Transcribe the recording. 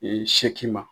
seegin ma